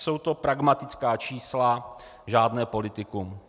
Jsou to pragmatická čísla, žádné politikum.